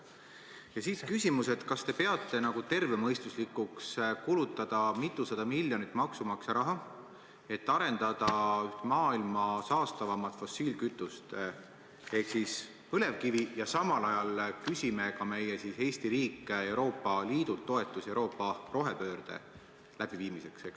Ja siit küsimus: kas te peate tervemõistuslikuks kulutada mitusada miljonit maksumaksja raha, et arendada maailma ühe saastavaima fossiilkütuse ehk põlevkivi tööstust, ja samal ajal küsida meile, Eesti riigile Euroopa Liidult toetusi Euroopa rohepöörde läbiviimiseks?